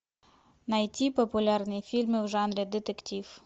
найти популярные фильмы в жанре детектив